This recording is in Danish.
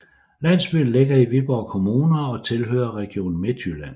Landsbyen ligger i Viborg Kommune og tilhører Region Midtjylland